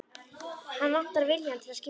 Hann vantar viljann til að skilja.